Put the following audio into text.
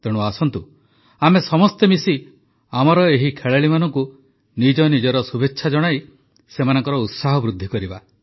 ତେଣୁ ଆସନ୍ତୁ ସମସ୍ତେ ମିଶି ଆମର ଏହି ଖେଳାଳିମାନଙ୍କୁ ନିଜ ନିଜର ଶୁଭେଚ୍ଛା ଜଣାଇ ସେମାନଙ୍କ ଉତ୍ସାହ ବୃଦ୍ଧି କରିବା